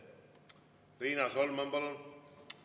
Riina Solman, palun!